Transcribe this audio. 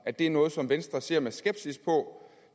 at det er noget som venstre ser med skepsis på